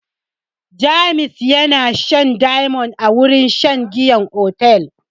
James yana shan diamond a wurin shan giyan otel.